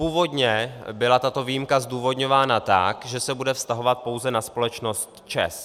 Původně byla tato výjimka zdůvodňována tak, že se bude vztahovat pouze na společnost ČEZ.